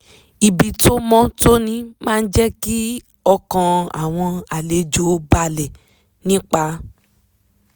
ibi tó mọ́ tóní máa jẹ́ kí ọkàn àwọn àlejò balẹ̀ nípa